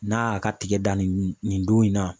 N'a y'a ka tigɛ dan nin nin don in na.